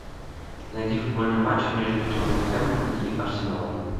найди футбольный матч между тоттенхэмом и арсеналом